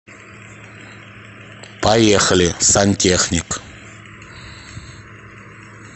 поехали сантехник